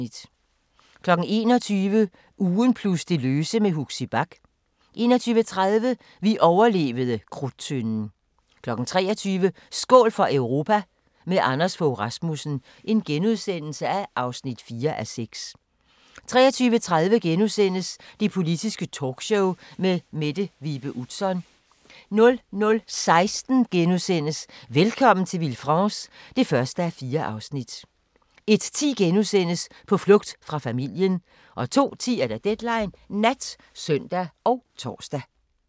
21:00: Ugen plus det løse med Huxi Bach 21:30: Vi overlevede Krudttønden 23:00: Skål for Europa – med Anders Fogh Rasmussen (4:6)* 23:30: Det Politiske Talkshow med Mette Vibe Utzon * 00:16: Velkommen til Villefranche (1:4) 01:10: På flugt fra familien * 02:10: Deadline Nat (søn og tor)